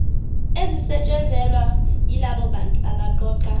ezisetshenzelwa yilabobantu abaqoqa